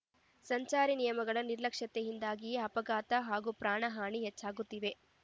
ಸಂಚಾರಿ ನಿಯಮಗಳ ನಿರ್ಲಕ್ಷ್ಯತೆಯಿಂದಾಗಿಯೇ ಅಪಘಾತ ಹಾಗೂ ಪ್ರಾಣಹಾನಿ ಹೆಚ್ಚಾಗುತ್ತಿವೆ